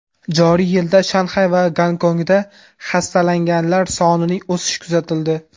Joriy yilda Shanxay va Gonkongda xastalanganlar sonining o‘sishi kuzatildi.